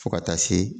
Fo ka taa se